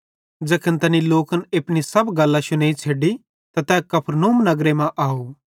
ज़ैखन तैनी लोकन अपनी सब गल्लां शुनेइ छ़ैडी त तै कफरनहूम नगर मां अव